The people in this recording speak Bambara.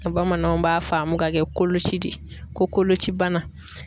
Bamananw b'a faamu ka kɛ koloci de ye ko kolocibana.